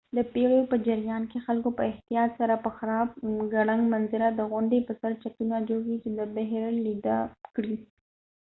د پیړیو په جریان کې خلکو په احتیاط سره په خراب ګړنګ منظره د غونډی په سر چتونه جوړ کړي چې د بحر لیده کړي